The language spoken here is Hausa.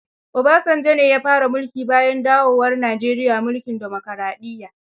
Obasanjo ne ya fara mulki bayan dawowar Nijeriya mulkin dimokaraɗiyya.